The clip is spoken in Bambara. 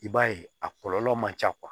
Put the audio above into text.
I b'a ye a kɔlɔlɔ man ca